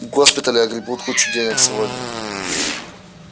госпитали огребут кучу денег сегодня